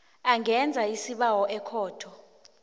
angenza isibawo ekhotho